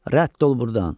Rədd ol buradan!